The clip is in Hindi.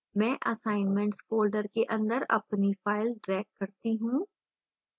मैं assignments folder के अंदर अपनी file drag करती हूँ